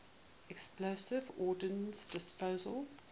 explosive ordnance disposal